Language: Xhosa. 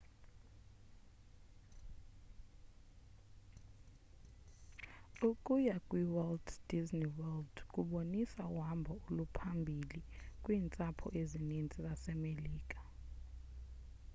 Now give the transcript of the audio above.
ukuya kwiwalt disney world kubonisa uhambo oluphambili kwiintsapho ezininzi zasemelika